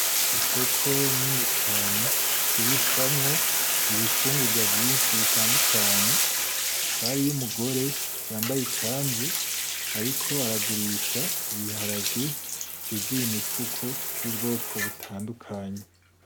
Isoko nini cane igurishwamwo ibifungugwa vyinshi bitandukanye, hakaba hariyo umugore yambaye ikanzu ariko aragurisha ibiharage vyuzuye imifuko vy'ubwoko butandukanye.